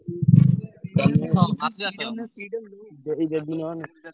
ଦେଇଦେବି ନହେଲେ।